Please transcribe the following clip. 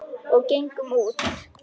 Og gengum út.